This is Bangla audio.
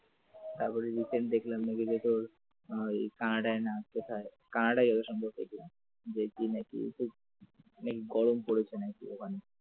তারপর recent দেখলাম কানাডায় না কোথায় কানাডায় হবে যত সম্ভবত দেখলাম দেখি নাকি গরম পড়েছে ওখানে ।